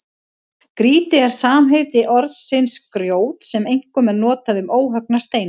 Grýti er samheiti orðsins grjót sem einkum er notað um óhöggna steina.